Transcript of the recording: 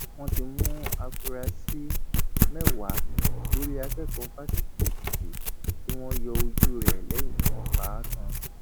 wọn ti mú àfúrásì mẹwàá lórí akẹkọọ fásitì èkìtì tí wọn yọ ojú rẹ lẹyìn tí wọn pa á tán